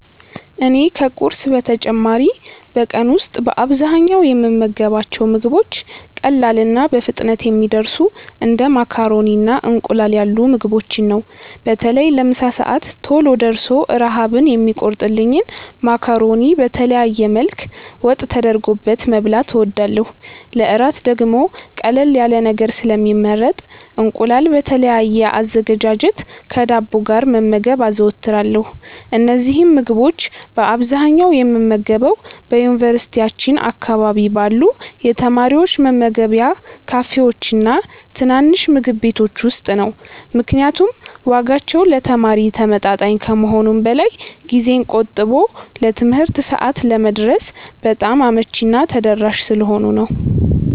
እኔ ከቁርስ በተጨማሪ በቀን ውስጥ በአብዛኛው የምመገባቸው ምግቦች ቀላልና በፍጥነት የሚደርሱ እንደ ማካሮኒና እንቁላል ያሉ ምግቦችን ነው። በተለይ ለምሳ ሰዓት ቶሎ ደርሶ ረሃብን የሚቆርጥልኝን ማካሮኒ በተለያየ መልክ ወጥ ተደርጎበት መብላት እወዳለሁ። ለእራት ደግሞ ቀለል ያለ ነገር ስለሚመረጥ እንቁላል በተለያየ አዘገጃጀት ከዳቦ ጋር መመገብ አዘወትራለሁ። እነዚህን ምግቦች በአብዛኛው የምመገበው በዩኒቨርሲቲያችን አካባቢ ባሉ የተማሪዎች መመገቢያ ካፌዎችና ትናንሽ ምግብ ቤቶች ውስጥ ነው፤ ምክንያቱም ዋጋቸው ለተማሪ ተመጣጣኝ ከመሆኑም በላይ ጊዜን ቆጥቦ ለትምህርት ሰዓት ለመድረስ በጣም አመቺና ተደራሽ ስለሆኑ ነው።